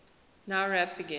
nowrap begin